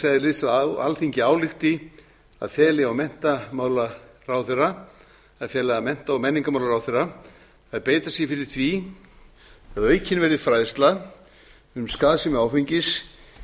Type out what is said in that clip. eðlis að alþingi álykti að fela mennta og menningarmálaráðherra að beita sér fyrir því að aukin verði fræðsla um skaðsemi áfengis